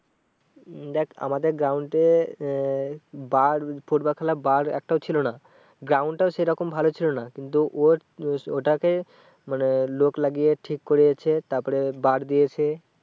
উম দেখ আমাদের ground এ আহ বার football খেলার বার একটাও ছিল না। ground টাও সে রকম ভালো ছিল না। কিন্তু ওর উম ওটাকে মানে লোক লাগিয়ে ঠিক করিয়েছে তার পরে বার দিয়েছে।